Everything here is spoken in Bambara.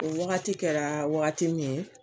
O wagati kɛra wagati min ye